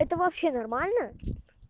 это вообще нормально